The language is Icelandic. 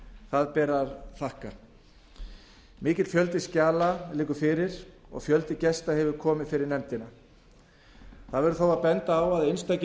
það ber að þakka mikill fjöldi skjala liggur fyrir og fjöldi gesta hefur komið fyrir nefndina það verður þó að benda á að einstakir